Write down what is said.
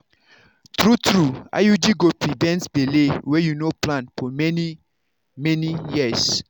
true-true iud go prevent belle wey you no plan for for many-many years.